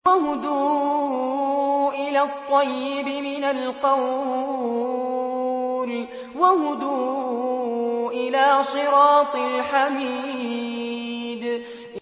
وَهُدُوا إِلَى الطَّيِّبِ مِنَ الْقَوْلِ وَهُدُوا إِلَىٰ صِرَاطِ الْحَمِيدِ